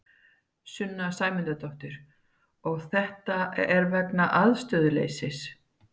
Sunna Sæmundsdóttir: Og þetta er vegna aðstöðuleysis?